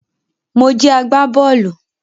Mo jẹ agbá-bọ́ọ́lù